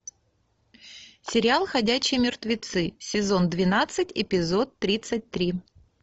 сериал ходячие мертвецы сезон двенадцать эпизод тридцать три